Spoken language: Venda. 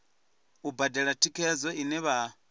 u badela thikhedzo ine vha